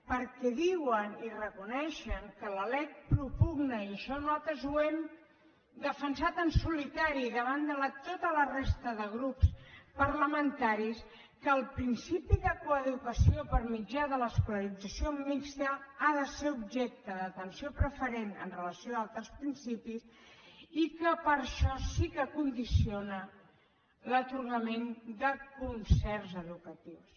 perquè diuen i reconeixen que la lec propugna i això nosaltres ho hem defensat en solitari davant de tota la resta de grups parlamentaris que el principi de coeducació per mitjà de l’escolarització mixta ha de ser objecte d’atenció preferent amb relació a altres principis i que per això sí que condiciona l’atorgament de concerts educatius